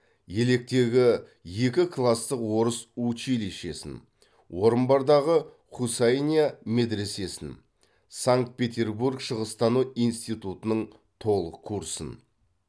електегі екі кластық орыс училищесін орынбордағы хусайния медресесін санкт петербург шығыстану институтының толық курсын